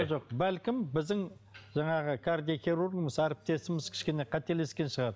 жоқ бәлкім біздің жаңағы кардиохирургымыз әріптесіміз кішкене қателескен шығар